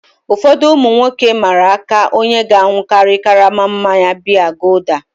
Ụfọdụ ụmụ nwoke mmara aka onye ga-aṅụkari karama mmanya biya gulder.